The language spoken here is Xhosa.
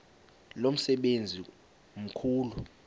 lo msebenzi mkhulu